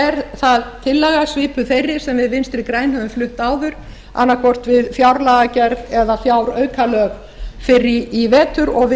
er það tillaga svipuð þeirri sem við vinstri græn höfum flutt áður annað hvort við fjárlagagerð eða fjáraukalög fyrr í vetur og við